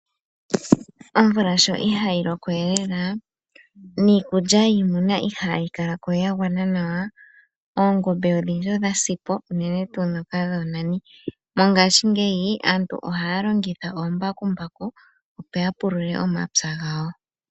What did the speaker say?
Omvula sho ihayi lokowe lela niikulya yiimuna ihayii kalakowe yagwana nawa, oongobe odhi ndji odha sipo unene tuu ndhoka dhoo nani, mongashingeyi aantu ohaa longitha omambakumbaku opo ya pulule omapya gawo.